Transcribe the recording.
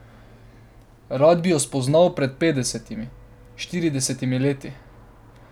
Rad bi jo spoznal pred petdesetimi, štiridesetimi leti.